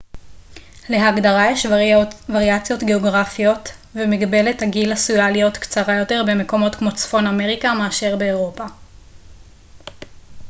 להגדרה יש וריאציות גאוגרפיות ומגבלת הגיל עשויה להיות קצרה יותר במקומות כמו צפון אמריקה מאשר באירופה